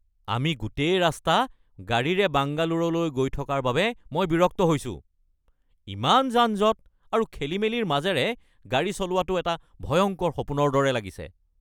আমি গোটেই ৰাস্তা গাড়ীৰে বাংগালোৰলৈ গৈ থকাৰ বাবে মই বিৰক্ত হৈছোঁ। ইমান যান-জঁট আৰু খেলিমেলিৰ মাজেৰে গাড়ী চলোৱাটো এটা ভয়ংকৰ সপোনৰ দৰে লাগিছে!